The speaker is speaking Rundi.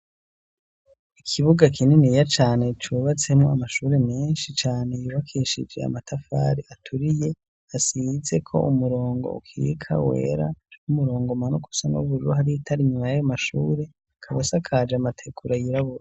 Ikibuga kininiya cane cubatsemwo amashure menshi cane yubakishije amatafari aturiye asizeko umurongo ukika wera n'umurongo umanuka usa n'ubururu hari itara inyuma yayo mashure, akaba asakaje amategura yirabura.